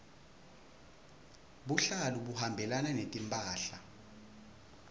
buhlalu buhambelana netimphahla